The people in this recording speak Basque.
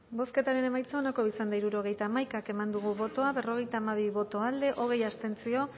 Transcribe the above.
bozketaren emaitza onako izan da hirurogeita hamaika eman dugu bozka berrogeita hamabi boto alde hogei abstentzio